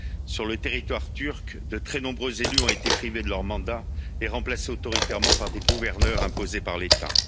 Sur le territoire turc, de très nombreux élus ont été privés de leur mandat et remplacés de manière autoritaire par des gouverneurs imposés par l'État.